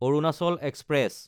Arunachal express